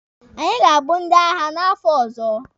Anyị ga-abụ ndị agha n'afọ ọzọ.